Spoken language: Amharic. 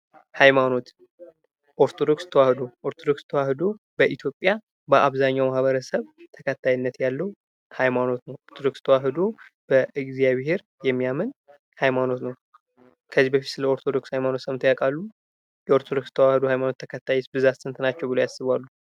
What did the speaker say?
ሃይማኖት ኦርቶዶክስ ተዋሕዶ ኦርቶዶክስ ተዋሕዶ በኢትዮጵያ በአብዘሀኛው ማህበረሰብ ተከታይነት ያለው ሃይማኖት ነው። ኦርቶዶክስ ተዋህዶ በእግዚአብሔር የሚያምን ሃይማኖት ነው። ከዚህ በፊት ስለ ኦርቶዶክስ ሃይማኖት ሰምተው ያውቃሉ? የኦርቶዶክስ ተዋሕዶ ሃይማኖት ተከታይስ ብዛት ስንት ናቸዉ ብለው ያስባሉ?